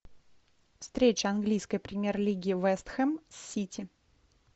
встреча английской премьер лиги вест хэм с сити